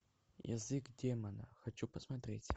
язык демона хочу посмотреть